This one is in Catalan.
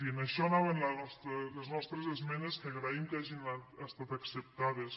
i a això anaven les nostres esmenes que agraïm que hagin estat acceptades